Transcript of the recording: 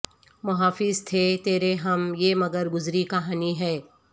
محافظ تھے تیرے ہم یہ مگر گزری کہانی ہے